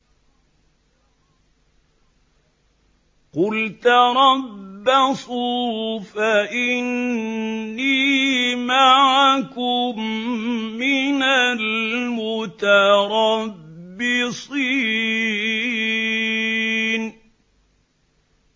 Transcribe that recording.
قُلْ تَرَبَّصُوا فَإِنِّي مَعَكُم مِّنَ الْمُتَرَبِّصِينَ